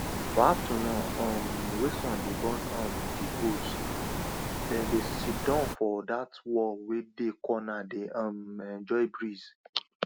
for afternoon um wey sun dey burn um di goats dem dey sidon for dat wall wey dey corner dey um enjoy breeze